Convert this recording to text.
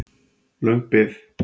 Löng bið